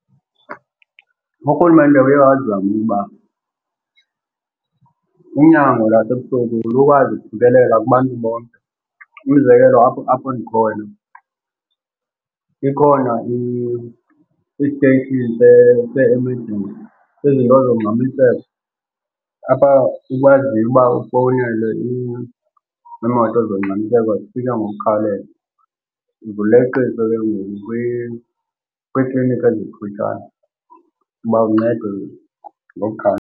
Urhulumente uye wazama ukuba unyango lasebusuku lukwazi ukufikelela kubantu bonke. Umzekelo apho apho ndikhona ikhona i-station se-emergency, izinto zongxamiseko, apha ukwaziyo uba ufowunele iimoto zongxamiseko ukuba zifike ngokukhawuleza. Uzuleqisa ke ngoku kwiikliniki ezikufutshane uba uncedwe .